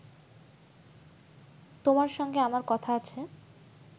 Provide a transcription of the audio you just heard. তোমার সঙ্গে আমার কথা আছে